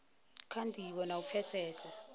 kha ndivho na u pfesesa